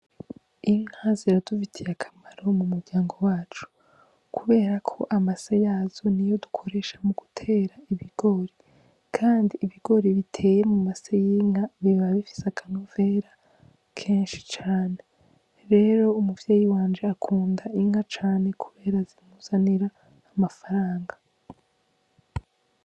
Inka ziradufitiye akamaro m'umuryango wacu, kuberako amase yazo niyo dukoresha mugutera ibigori, kandi ibigori biteye mu mase y'inka biba bifise akanovera kenshi cane, rero umuvyeyi wanje akunda Inka cane kubera zimuzanira amafaranga.